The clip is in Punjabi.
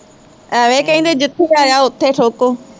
ਅਵੈ ਕਹਿੰਦੇ ਹਮ ਜਿੱਥੇ ਬਹਿਜਾ ਓਥੇ ਈ ਠੋਕੋ